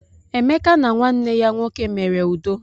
Emeka na nwanne ya nwoke mere udo.